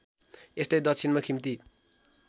यस्तै दक्षिणमा खिम्ती